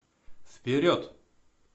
вперед